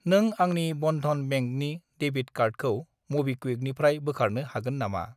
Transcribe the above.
नों आंनि बनधन बेंकनि डेबिट कार्डखौ मबिक्वुइकनिफ्राय बोखारनो हागोन नामा?